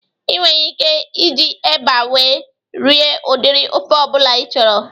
Ị nwere ike iji eba wee rie udiri ofe ọbụla ị chọrọ